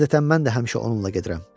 Adətən mən də həmişə onunla gedirəm.